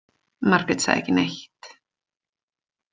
Margét sagði ekki neitt.